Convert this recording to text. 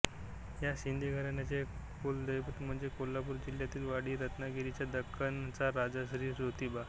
या शिन्दे घराण्याचे कुलदैवत म्हणजे कोल्हापूर जिल्ह्यातील वाडी रत्नागिरीचा दक्खनचा राजा श्री जोतिबा